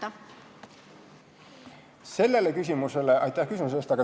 Aitäh küsimuse eest!